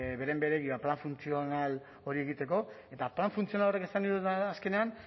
beren beregi edo plan funtzional hori egiteko eta plan funtzional horrek esan nahi duena da azkenean